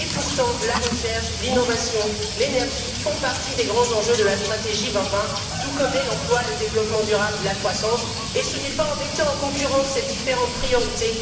et pourtant la recherche, l'innovation, l'énergie font partie des grands enjeux de la stratégie 2020, tout comme l'emploi, le développement durable et la croissance, et ce n'est pas en mettant en concurrence ces différentes priorités...